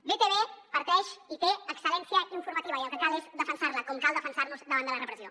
btv parteix i té excellència informativa i el que cal és defensar la com cal defensar nos davant de la repressió